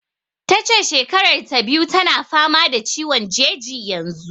Ta ce shekarar ta biyu tana fama da ciwon jeji yanzu.